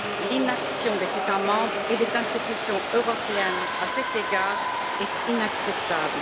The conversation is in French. L'inaction des États membres et des institutions européennes, à cet égard, est inacceptable.